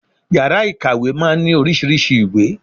Yàrá ìkàwé máa ń ní oríṣiríṣei ìwé